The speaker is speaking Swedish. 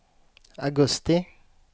augusti